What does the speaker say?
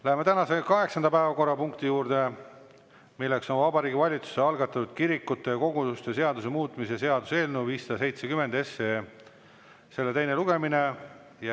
Läheme tänase kaheksanda päevakorrapunkti juurde: Vabariigi Valitsuse algatatud kirikute ja koguduste seaduse muutmise seaduse eelnõu 570 teine lugemine.